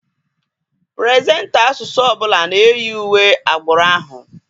Puresenta asụsụ ọbụla na-eyi uwe agbụrụ ahụ.